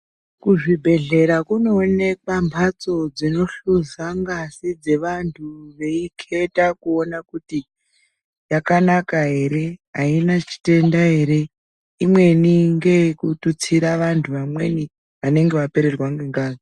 Kuzvibhehlera kunoonekwa mhatso dzinohluza ngazi dzevanthu veiketa kuona kuti yakanaka ere ,yaina chitenda ere imweni ngeyekututsira vanthu vamweni vanenge vapererwa ngengazi.